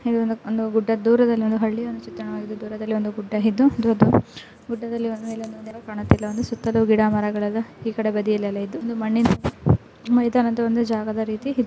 ಇದೊಂದು ಗುಡ್ಡ ದೂರದಲ್ಲಿ ಒಂದು ಹಳ್ಳಿಯ ಚಿತ್ರಣವಾಗಿದೆ ದೂರದಲ್ಲಿ ಒಂದು ಗುಡ್ಡ ಇದ್ದು ಯಾವ ಚಿಕ್ಕ ಗಿಡಗಳು ಕಾಣುತ್ತಿಲ್ಲಾ ಸುತ್ತಲೂ ಗಿಡಮರಗಳೆಲ್ಲಾ ಈಕಡೆ ಬದಿಯಲೆಲ್ಲಾ ಇದ್ದು ಮೈದಾನದ ಒಂದು ಜಾಗದ ರೀತಿ ಇ --